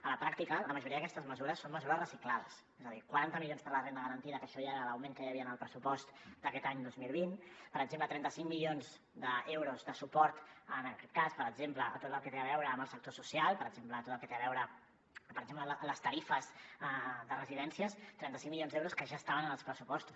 a la pràctica la majoria d’aquestes mesures són mesures reciclades és a dir quaranta milions per a la renda garantida que això ja era l’augment que hi havia en el pressupost d’aquest any dos mil vint per exemple trenta cinc milions d’euros de suport en aquest cas per exemple a tot el que té a veure amb el sector social per exemple tot el que té a veure amb les tarifes de residències trenta cinc milions d’euros que ja estaven en els pressupostos